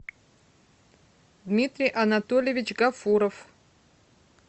дмитрий анатольевич гафуров